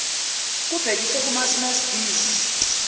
kubhekiswe kumasmmes bees